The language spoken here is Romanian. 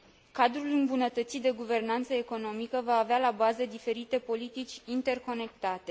Cadrul îmbunătățit de guvernanță economică va avea la bază diferite politici interconectate.